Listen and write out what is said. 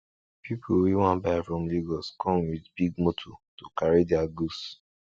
people wey wan buy from lagos come with big motor to carry their goods